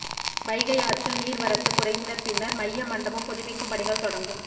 வைகை ஆற்றில் நீா்வரத்து குறைந்த பின்னா் மைய மண்டபம் புதுப்பிக்கும் பணிகள் தொடங்கும்